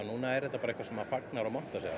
núna er þetta bara eitthvað sem maður fagnar og montar sig